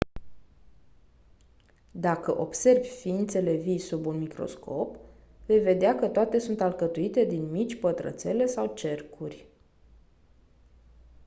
dacă observi ființele vii sub un microscop vei vedea că toate sunt alcătuite din mici pătrățele sau cercuri